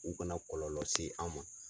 U kana kɔlɔlɔ se an ma.